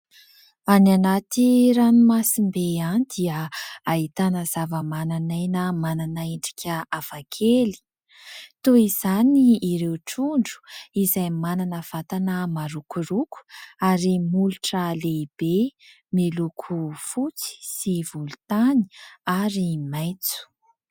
Any anaty ranomasimbe any dia ahitana zavamananaina manana endrika hafakely. Toy izany ireo trondro izay manana vatana marokoroko, ary molotra lehibe ; miloko fotsy sy volontany ary maitso.